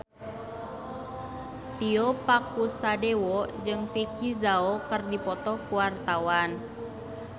Tio Pakusadewo jeung Vicki Zao keur dipoto ku wartawan